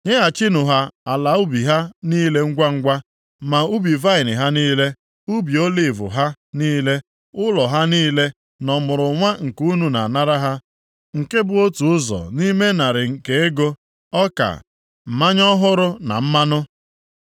Nyeghachinụ ha ala ubi ha niile ngwangwa, ma ubi vaịnị ha niile, ubi oliv ha niile, ụlọ ha niile na ọmụrụnwa nke unu na-anara ha nke bụ otu ụzọ nʼime narị nke ego, ọka, mmanya ọhụrụ na mmanụ.